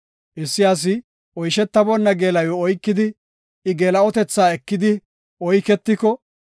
Issi asi oyshetaboonna geela7iw oykidi, I geela7otetha ekidi oyketeko,